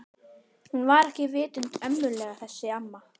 Hún var ekki vitund ömmuleg þessi amma.